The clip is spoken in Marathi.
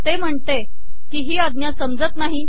ते महणते की ही आजा समजत नाही